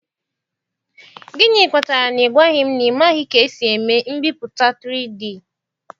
Gịnị kpatara na ị gwaghị m na ị maghị ka esi eme mbipụta 3D?